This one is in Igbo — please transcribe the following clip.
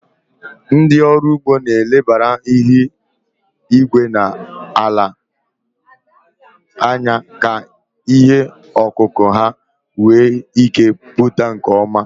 Ndị ọrụ ugbo na-elebara ihu igwe na ala anya ka ihe ọkụkụ ha wee ike pụta nke ọma.